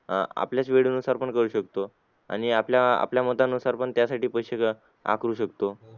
अह आपल्यात वेळेनुसार पण करू शकतो आणि आपल्या आपल्या मतानुसार पण त्यासाठी पैसे आकारू शकतो